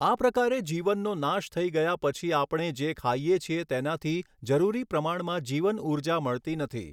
આ પ્રકારે જીવનનો નાશ થઈ ગયા પછી આપણે જે ખાઈએ છીએ તેનાથી જરૂરી પ્રમાણમાં જીવનઊર્જા મળતી નથી.